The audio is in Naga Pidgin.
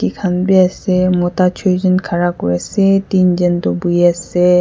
bi ase mota chuichan khara kuri ase deenjan toh bhoi ase.